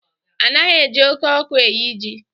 Anaghị eji oké ọkụ eye ji.